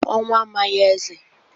Ọnwụ amaghị eze..